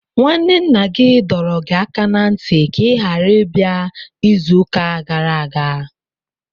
Nwanne nna gị dọrọ gị aka ná ntị ka ị ghara ịbịa izuụka gara aga!